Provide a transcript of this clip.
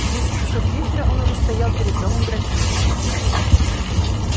в десять часов вечера он уже стоял перед домом графини